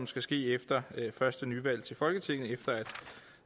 skal ske efter første nyvalg til folketinget efter at